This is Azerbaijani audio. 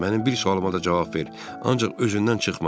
Mənim bir sualıma da cavab ver, ancaq özündən çıxma.